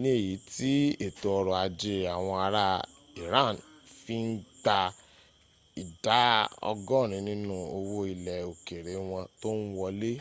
ní èyí tí ètò ọrọ̀ ajé àwọn ara iran fi ń gbà ìdá ọgọ́rin nínú owó̀ ilẹ̀ òkèrè wọn tó ń wọlé